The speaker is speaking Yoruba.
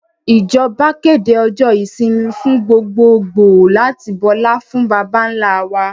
Ìjọba kéde ọjọ́ ìsinmi fún gbogbogbòò láti bọlá fún baba ńlá wa